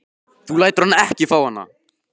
Þú lætur hann ekki fá hana!